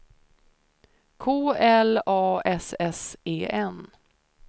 K L A S S E N